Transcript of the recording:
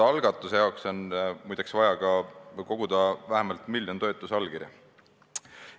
Algatuse jaoks on, muide, vaja koguda vähemalt miljon toetusallkirja.